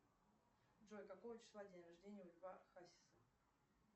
джой какого числа день рождения у льва хасиса